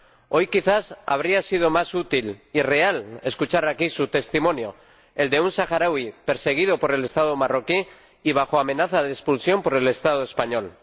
Hoy quizás habría sido más útil y real escuchar aquí su testimonio, el de un saharaui perseguido por el Estado marroquí y bajo amenaza de expulsión por el Estado español.